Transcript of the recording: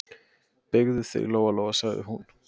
Beygðu þig, Lóa-Lóa, sagði hún.